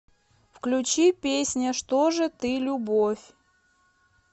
включи песня что же ты любовь